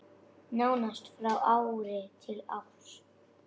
Nánast frá ári til árs.